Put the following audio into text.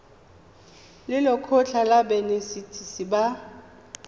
le lekgotlha la banetetshi ba